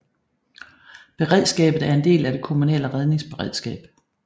Beredskabet er en del af det kommunale redningsberedskab